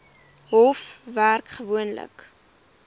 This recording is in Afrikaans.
hof werk gewoonlik